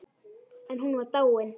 En hún var dáin.